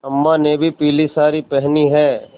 अम्मा ने भी पीली सारी पेहनी है